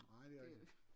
Nej det er rigtigt